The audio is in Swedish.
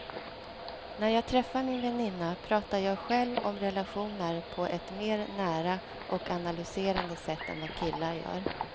När jag träffar min väninna pratar jag själv om relationer på ett mer nära och analyserande sätt än vad killar gör.